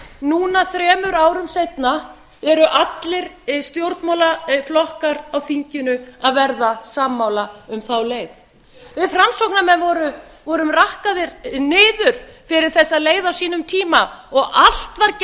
núna þremur árum seinna eru allir stjórnmálaflokkar á þinginu að verða sammála um þá leið við framsóknarmenn vorum rakkaðir niður fyrir þessa leið á sínum tíma og allt var gert til